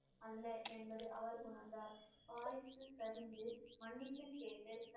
அல்ல என்பது அவர் உணர்ந்தார் வாரிசு சரிந்து மன்னிப்பு கேட்டு